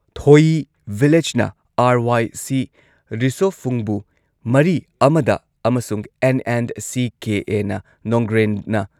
ꯊꯣꯌꯤ ꯚꯤꯂꯦꯖꯅ ꯑꯥꯔ.ꯋꯥꯏ.ꯁꯤ ꯔꯤꯁꯣꯐꯨꯡꯕꯨ ꯃꯔꯤ ꯑꯃꯗ ꯑꯃꯁꯨꯡ ꯑꯦꯟ.ꯑꯦꯟ.ꯁꯤ.ꯀꯦ.ꯑꯦ. ꯅ ꯅꯣꯡꯒ꯭ꯔꯦꯟꯅ